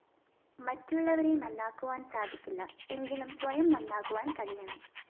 മറ്റുള്ളവരെ നന്നാക്കുവാന്‍ സാധിക്കില്ല എങ്കിലും സ്വയം നന്നാകുവാന്‍ കഴിയണം